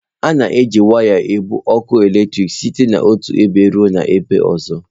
A na-eji waya ebu ọkụ eletrik site n'otu ebe ruo ebe ọzọ.